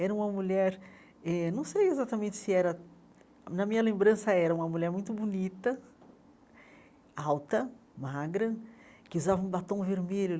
Era uma mulher, eh não sei exatamente se era... Na minha lembrança, era uma mulher muito bonita, alta, magra, que usava um batom vermelho.